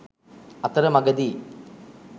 අතර මගදී